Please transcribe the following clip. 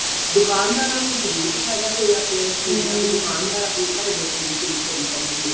ਦੁਕਾਨਦਾਰਾਂ ਨੂੰ ਜਰੂਰ ਫਾਇਦਾ ਹੋਇਆ ਪਿਆ ਇਸ ਚੀਜ਼ ਦਾ ਵੀ ਦੁਕਾਨਦਾਰ ਆਪਣੀ ਆਪਣੇ ਘਰ ਬੈਠੇ ਵੀ sale ਕਰੀ ਜਾਂਦੇ ਨੇ